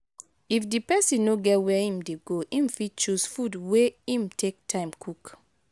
if di person no get where im dey go im fit choose food wey im take time cook